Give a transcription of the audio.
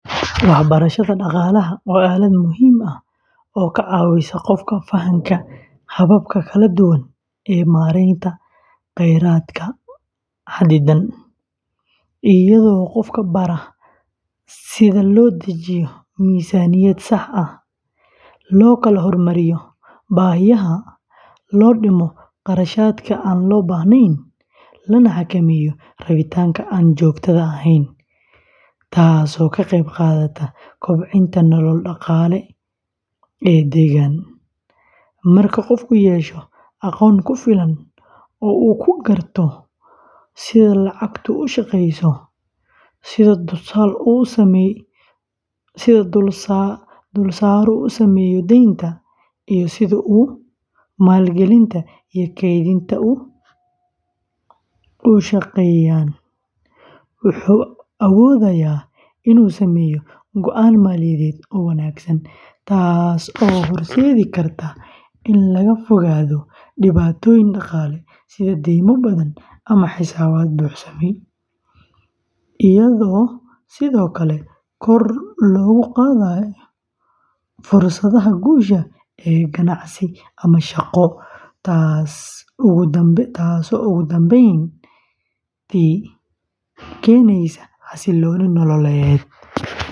Waxbarashada dhaqaalaha waa aalad muhiim ah oo ka caawisa qofka fahamka hababka kala duwan ee maaraynta kheyraadka xaddidan, iyadoo qofka bara sida loo dejiyo miisaaniyad sax ah, loo kala hormariyo baahiyaha, loo dhimo kharashaadka aan loo baahnayn, lana xakameeyo rabitaanka aan joogtada ahayn, taasoo ka qeyb qaadata kobcinta nolol dhaqaale oo deggan; marka qofku yeesho aqoon ku filan oo uu ku garto sida lacagtu u shaqeyso, sida dulsaaru u saameeyo deynta, iyo sida maalgelinta iyo kaydintu u shaqeeyaan, wuxuu awoodayaa inuu sameeyo go’aan maaliyadeed oo wanaagsan, taasoo horseedi karta in laga fogaado dhibaatooyin dhaqaale sida deymo badan ama xisaabaad buuxsamay, iyadoo sidoo kale kor loogu qaadayo fursadaha guusha ee ganacsi ama shaqo, taasoo ugu dambeyntii keeneysa xasillooni nololeed.